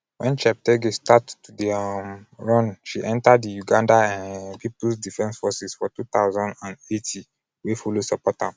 wen cheptegei start to dey um run she enta di uganda um peoples defence forces for 2008 wey follow support am.